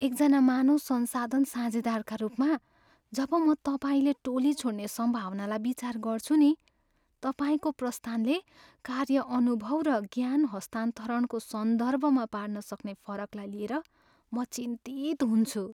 एकजना मानव संसाधन साझेदारका रूपमा, जब म तपाईँले टोली छोड्ने सम्भावनालाई विचार गर्छु नि, तपाईँको प्रस्थानले कार्य अनुभव र ज्ञान हस्तान्तरणको सन्दर्भमा पार्न सक्ने फरकलाई लिएर म चिन्तित हुन्छु।